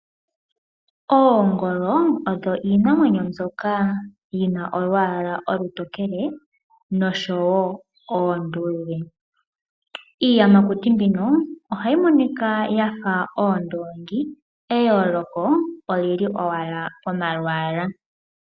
Oongolo odho iinamwenyo mbyoka yina omalwaala omatokele oshowoo omaluudhe . Iiyamakuti mbino ohayi monika yafa oondongi , eyooloko olili owala pomalwaalwa.